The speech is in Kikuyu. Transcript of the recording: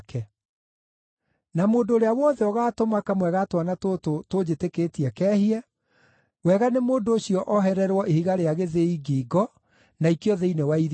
“Na mũndũ ũrĩa wothe ũgaatũma kamwe ga twana tũtũ tũnjĩtĩkĩtie kehie, wega nĩ mũndũ ũcio ohererwo ihiga rĩa gĩthĩi ngingo na aikio thĩinĩ wa iria.